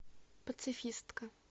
пацифистка